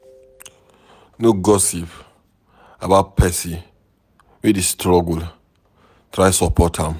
No gossip about pesin wey dey struggle, try support am.